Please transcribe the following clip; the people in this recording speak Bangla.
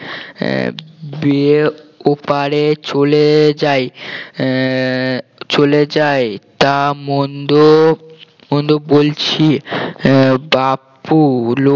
আহ বেয়ে ওপারে চলে যাই আহ চলে যাই তা মন্দ মন্দ বলছি আহ বাপু